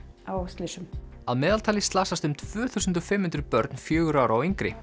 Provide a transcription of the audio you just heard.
á slysum að meðaltali slasast um tvö þúsund og fimm hundruð börn fjögurra ára og yngri